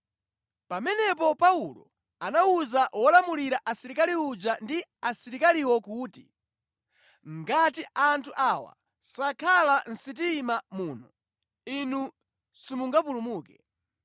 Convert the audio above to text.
Pamenepo Paulo anawuza wolamulira asilikali uja ndi asilikaliwo kuti, “Ngati anthu awa sakhala mʼsitima muno, inu simungapulumuke.”